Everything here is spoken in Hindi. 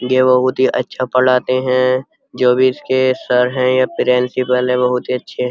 ये बहोत ही अच्छा पढ़ाते हैं। जो भी इसके सर है या प्रिंसिपल हैं बहोत ही अच्छे --